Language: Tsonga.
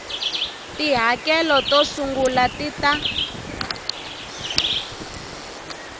tihakelo to sungula ti ta